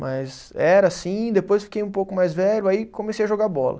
Mas era assim, depois fiquei um pouco mais velho, aí comecei a jogar bola.